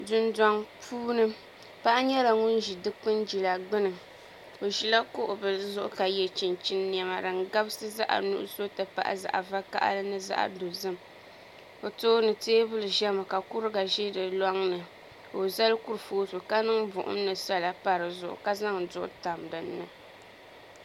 Dundoŋ puuni paɣa nyɛla ŋun ʒi dikpuni jila gbuni o ʒila kuɣu bili zuɣu ka yɛ chinchin niɛma din gabisi zaɣ nuɣso ti pahi zaŋ vakaɣali ni zaɣ dozim o tooni teebuli ʒɛmi ka kuriga ʒɛ di loŋni ka o zali kurifooti ka niŋ buɣum ni sala pa dizuɣu ka zaŋ duɣu tam dinni